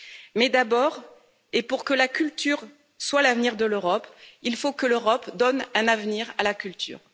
Mais d'abord, et pour que la culture soit l'avenir de l'Europe, il faut que l'Europe donne un avenir à la culture.